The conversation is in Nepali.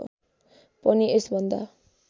पनि यस भन्दा